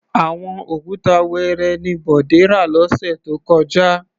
Àwọn òkúta wẹẹrẹ ni Bọ̀dé rà lọ́sẹ̀ tó kọjá.